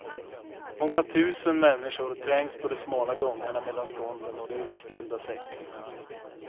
Många tusen människor trängs på de smala gångarna mellan stånden och de utställda säckarna.